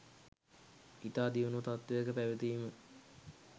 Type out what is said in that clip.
ඉතා දියුණු තත්ත්වයක පැවතීම